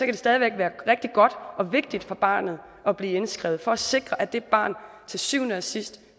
det stadig væk være rigtig godt og vigtigt for barnet at blive indskrevet for at sikre at det barn til syvende og sidst